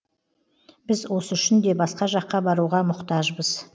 біз осы үшін де басқа жаққа баруға мұқтажбыз